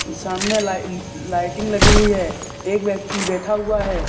सामने लाइ लाइटिंग लगी हुई है एक व्यक्ति बैठा हुआ है।